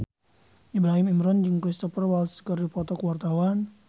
Ibrahim Imran jeung Cristhoper Waltz keur dipoto ku wartawan